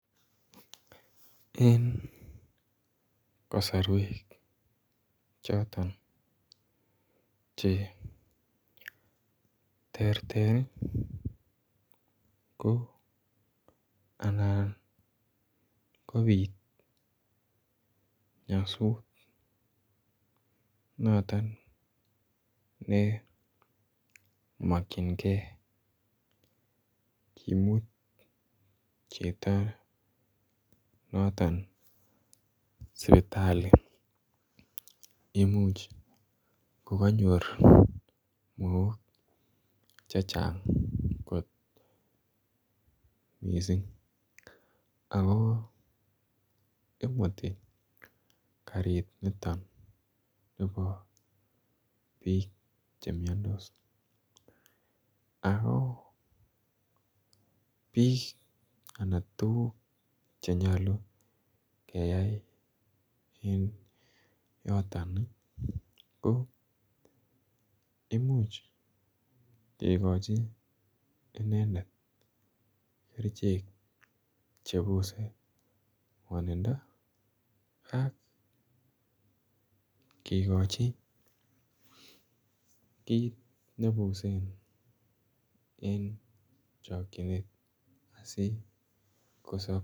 Eng kasarweek chotoon che terter ii ko anan kobiit nyasuut notoon ne makyingei komuut chitoo sipitalii imuuch ko kanyoor mook che chaang koot missing amuun imutii kariit nitoon nibo biik che miandos ako biik anan tuguuk che nyaluu keyai eng yotoon ii ko imuuch kikochii inendet kercheek che bose miando ako imuuch kigochi kiit nebusen eng chakyineet sikosaab.